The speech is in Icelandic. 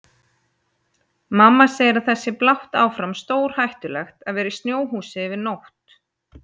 Mamma segir að það sé blátt áfram stórhættulegt að vera í snjóhúsi yfir nótt.